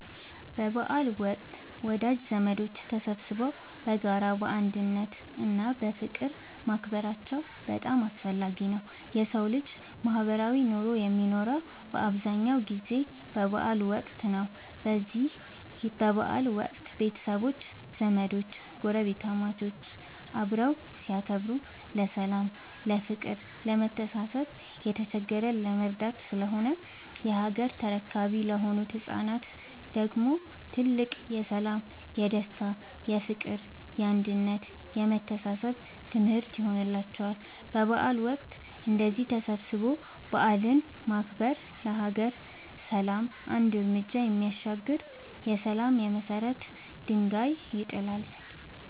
በበዓል ወቅት ወዳጅ ዘመዶች ተሰባስበው በጋራ፣ በአንድነት እና በፍቅር ማክበራቸው በጣም አስፈላጊ ነው የሠው ልጅ ማህበራዊ ኑሮ የሚኖረው በአብዛኛው ጊዜ በበዓል ወቅት ነው። በዚህ በበዓል ወቅት ቤተሰቦች፣ ዘመዶች ጐረቤታሞች አብረው ሲያከብሩ ለሠላም፤ ለፍቅር፣ ለመተሳሰብ፣ የተቸገረን ለመርዳት ስለሆነ የሀገር ተረካቢ ለሆኑት ለህፃናት ደግሞ ትልቅ የሠላም፣ የደስታ፣ የፍቅር፣ የአንድነት የመተሳሰብ ትምህርት ይሆንላቸዋል። በበዓል ወቅት እንደዚህ ተሰባስቦ በዓልን ማክበር ለሀገር ሰላም አንድ ርምጃ የሚያሻግር የሠላም የመሰረት ድንጋይ ይጥላል።